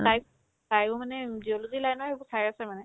তাইক তায়ো মানে উম zoology line ৰে সেইবোৰ চাই আছে মানে